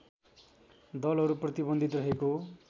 दलहरू प्रतिबन्धित रहेको